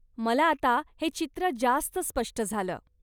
मला आता हे चित्र जास्त स्पष्ट झालं.